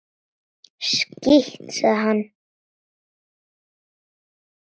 Skítt, sagði hann.